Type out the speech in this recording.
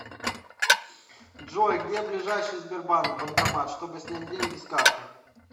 джой где ближайший сбербанк банкомат чтобы снять деньги с карты